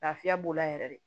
Lafiya b'o la yɛrɛ de